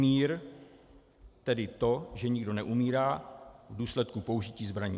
Mír, tedy to, že nikdo neumírá v důsledku použití zbraní.